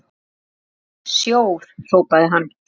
Vei, snjór hrópaði hann.